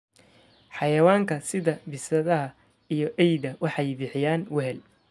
Xayawaanka sida bisadaha iyo eyda waxay bixiyaan wehel.